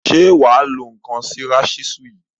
Ṣe wà á lo ǹnkan sí rasísú yìí?